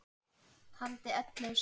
Taldi ellefu slög.